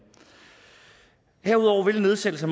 her nedsættelse